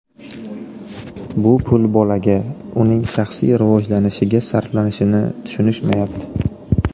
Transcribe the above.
Bu pul bolaga, uning shaxsiy rivojlanishiga sarflanishini tushunishmayapti.